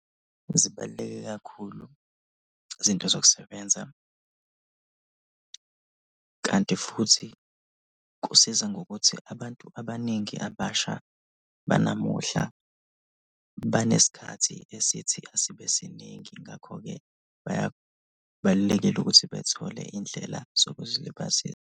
Zibaluleke kakhulu izinto zokusebenza kanti futhi kusiza ngokuthi abantu abaningi abasha banamuhla banesikhathi esithi asibe siningi ngakho-ke baya, kubalulekile ukuthi bethole indlela zokuzilibazisa.